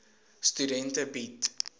studente bied